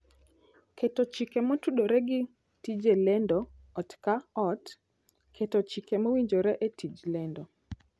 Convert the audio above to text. Keto Chike Motudore gi Tije Lendo Ot ka Ot: Keto chike mowinjore e tij lendo.